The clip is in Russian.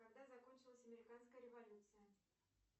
когда закончилась американская революция